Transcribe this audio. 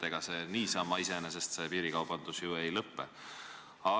Ega niisama iseenesest piirikaubandus ei lõpe.